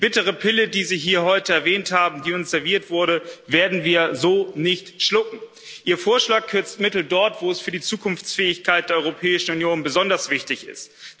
Die bittere Pille, die Sie hier heute erwähnt haben, die uns serviert wurde, werden wir so nicht schlucken. Ihr Vorschlag kürzt Mittel dort, wo es für die Zukunftsfähigkeit der Europäischen Union besonders wichtig ist.